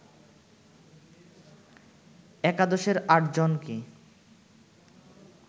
একাদশের আটজনকে